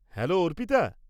Hello, Arpita.